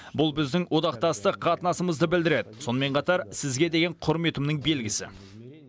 бұл біздің одақтастық қатынасымызды білдіреді сонымен қатар сізге деген құрметімнің белгісі